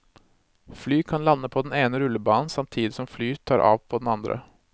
Fly kan lande på den ene rullebanen samtidig som fly tar av på den andre.